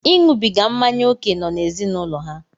Iṅụbiga mmanya ókè nọ n'ezinụlọ ha.